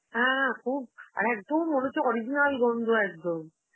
হ্যাঁ খুব, আর একদম মনে হচ্ছে original গন্ধ একদম.